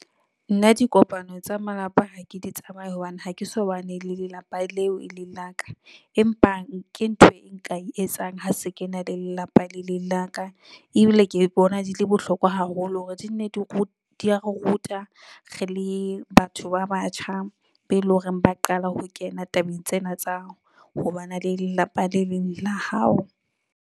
Nna dikopano tsa malapa ha ke di tsamaye hobane ha ke so bane le lelapa leo e leng la ka, empa nke ntho e nka e etsang ha se ke na le lelapa le leng la ka, ebile ke bona di le bohlokwa haholo hore di ne di di ya re ruta re le batho ba batjha be loreng ba qala ho kena tabeng tsena tsa ho bana le lelapa leo eleng la hao.